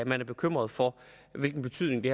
man er bekymret for hvilken betydning det